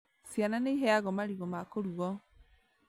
Ciana nĩiheagwo marigũ ma kũrugwo